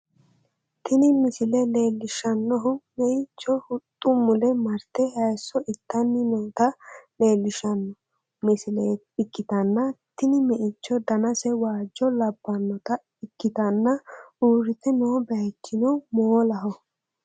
Tini misile leellishshannohu meixho huxxu mule marte hayiiso itanni noota leellishshanno misile ikkitanna, tini meichono danase waajjo labbannota ikkitanna, uurrite noo bayichino moolaho.